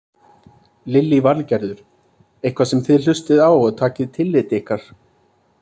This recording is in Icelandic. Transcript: Lillý Valgerður: Eitthvað sem þið hlustið á og takið tillit ykkar?